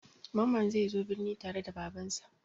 Mamman zai zo birni tare da Babansa.